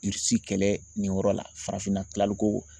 Irisi kɛlɛ nin yɔrɔ la farafinna kilali ko